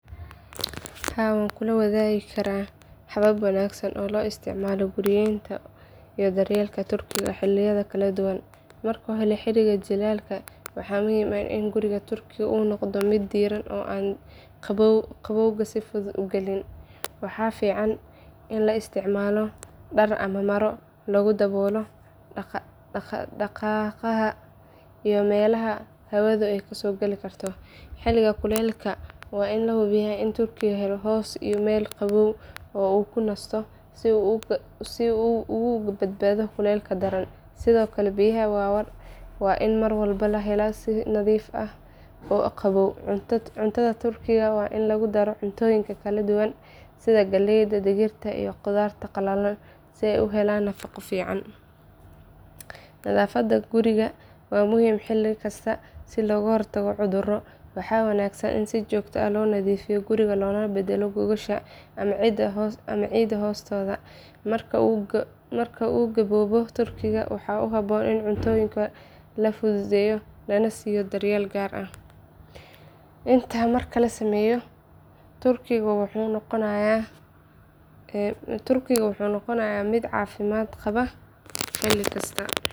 Haa waan kuu wadaagi karaa habab wanaagsan oo loo isticmaalo guriyeynta iyo daryeelka turkiga xilliyada kala duwan. Marka hore xilliga jiilaalka waxaa muhiim ah in guriga turkigu uu noqdo mid diiran oo aan qabowga si fudud u gelin. Waxaa fiican in la isticmaalo dhar ama maro lagu daboolo daaqadaha iyo meelaha hawadu ka soo gali karto. Xilliga kuleylaha waa in la hubiyo in turkigu helo hoos iyo meel qabow oo uu ku nasto si uu uga badbaado kulaylka daran. Sidoo kale biyaha waa in mar walba la helaa si nadiif ah oo qabow. Cuntada turkiga waa in lagu daro cuntooyin kala duwan sida galleyda, digirta, iyo khudaarta qalalan si ay u helaan nafaqo fiican. Nadaafadda guriga waa muhiim xilli kasta si looga hortago cudurro. Waxaa wanaagsan in si joogto ah loo nadiifiyo guriga loona beddelo gogosha ama ciidda hoostooda. Marka uu gaboobo turkigu waxaa habboon in cuntooyinka la fududeeyo lana siiyo daryeel gaar ah. Intaa marka la sameeyo turkigu wuxuu noqonayaa mid caafimaad qaba xilli kasta.